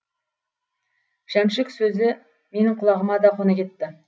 жәмшік сөзі менің құлағыма да қона кетті